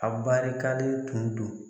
A barikalen tun do.